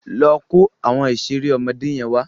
Lọ kó àwọn ìṣeré ọmọdé yẹn wá.